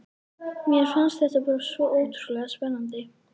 Mér fannst þetta bara svo ótrúlega spennandi.